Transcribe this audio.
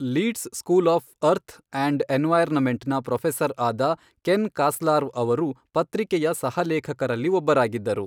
Leads school of earth and ಎನ್ವೈರ್ನಮೆಂಟ್ನ professor ಆದ Ken Carslaw ಅವರು ಪತ್ರಿಕೆಯ ಸಹ ಲೇಖಕರಲ್ಲಿ ಒಬ್ಬರಾಗಿದ್ದರು.